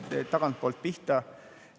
Ma hakkan tagantpoolt pihta.